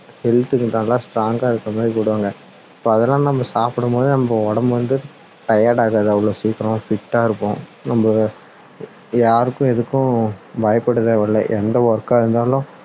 health க்கு நல்லா strong கா இருக்குற மாதிரி போடுவாங்க அதெல்லாம் நம்ம சாப்பிடும் போதே நம்ம உடம்பு வந்து tired ஆகாது அவ்வளவு சீக்கிரம் fit டா இருக்கும் நம்ம யாருக்கும் எதுக்கும் பயப்பட தேவை இல்லை எந்த work கா இருந்தாலும்